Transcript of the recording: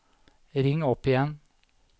ring opp igjen